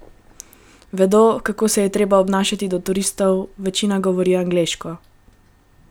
Vedo, kako se je treba obnašati do turistov, večina govori angleško.